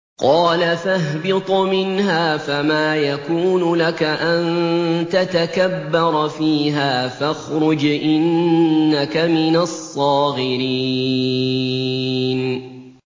قَالَ فَاهْبِطْ مِنْهَا فَمَا يَكُونُ لَكَ أَن تَتَكَبَّرَ فِيهَا فَاخْرُجْ إِنَّكَ مِنَ الصَّاغِرِينَ